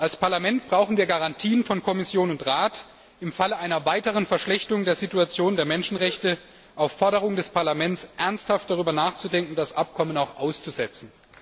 Als Parlament brauchen wir Garantien von Kommission und Rat, dass im Falle einer weiteren Verschlechterung der Situation der Menschenrechte auf Forderung des Parlaments ernsthaft darüber nachgedacht wird, das Abkommen auch auszusetzen.